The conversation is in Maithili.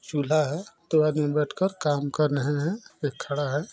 चूल्हा है दो आदमी बैठकर काम कर रहे हैं एक खड़ा है।